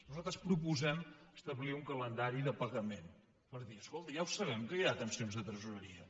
nosaltres proposem establir un calendari de pagament per dir escolti ja ho sabem que hi ha tensions de tresoreria